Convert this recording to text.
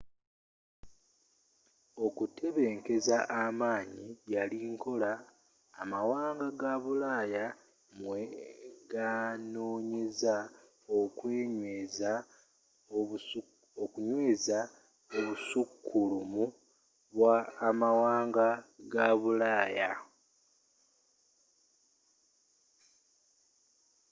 okutebenkeza amanyi yali nkola amawanga ga bulaaya mwe ganoonyeza okunyweeza obusukkulumu bwa amwanga ga bulaaya